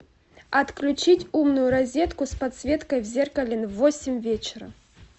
отключить умную розетку с подсветкой в зеркале в восемь вечера